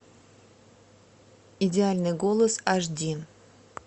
идеальный голос аш ди